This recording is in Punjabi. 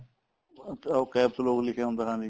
ਅੱਛਾ ਉਹ CAPSLOCK ਲਿਖਿਆ ਹੁੰਦਾ ਹਾਂਜੀ